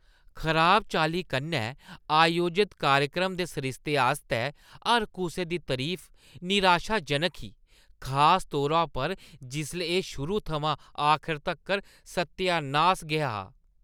खराब चाल्ली कन्नै आयोजत कार्यक्रम दे सरिस्ते आस्तै हर कुसै दी तरीफ निराशाजनक ही, खास तौरा पर जिसलै एह् शुरू थमां आखर तक्कर सत्यानास गै हा।